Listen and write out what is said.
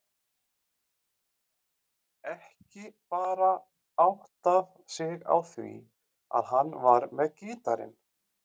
Ekki bara áttað sig á því að hann var með gítarinn.